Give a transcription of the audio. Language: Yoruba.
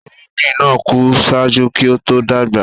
Irugbin naa ku ṣájú kí o to dagba.